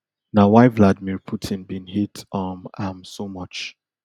na why vladimir putin bin hate um am so much